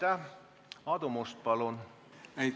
Aadu Must, palun!